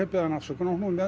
beðið hana afsökunar og hún